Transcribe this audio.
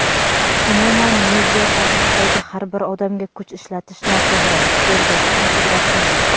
umuman media sohasidagi har bir odamga kuch ishlatish noto‘g‘ri – Sherzodxon Qudratxo‘ja.